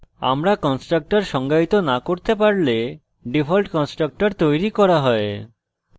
আমরা constructor সংজ্ঞায়িত না করতে পারলে ডিফল্ট constructor তৈরী করা হয়